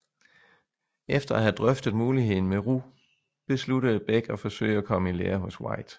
Efter at have drøftet muligheden med Roux besluttede Bech at forsøge at komme i lære hos White